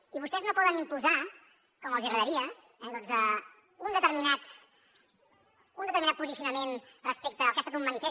i vostès no poden imposar com els agradaria doncs un determinat posicionament respecte al que ha estat un manifest